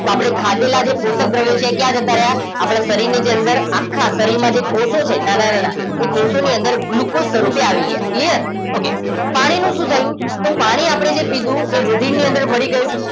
તો આપણે ખાધેલા જે પોષક દ્રવ્યો છે એ ક્યાં જતા રહ્યા આપણા શરીરની જે અંદર આખા શરીરમાં જે કોષો છે નાના નાના એ કોષોની અંદર ગ્લુકોઝ સ્વરૂપે આવી ગયા clear okay પાણી નું શું થયું તો પાણી આપણે જે પીધું એ રુધિરની અંદર ભળી ગયું